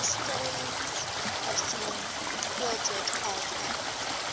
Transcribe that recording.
historians have seen ealdred as an